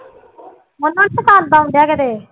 ਉਹਨੂੰ ਨੀ ਪਸੰਦ ਆਉਂਦੇ ਕਿਤੇ